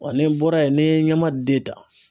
Wa ni n bɔra yen ni ye ɲamaden ta